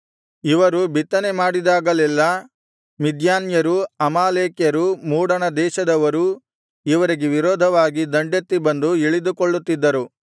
ಇವರು ಬಿತ್ತನೆಮಾಡಿದಾಗಲೆಲ್ಲಾ ಮಿದ್ಯಾನ್ಯರೂ ಅಮಾಲೇಕ್ಯರೂ ಮೂಡಣ ದೇಶದವರೂ ಇವರಿಗೆ ವಿರೋಧವಾಗಿ ದಂಡೆತ್ತಿ ಬಂದು ಇಳಿದುಕೊಳ್ಳುತ್ತಿದ್ದರು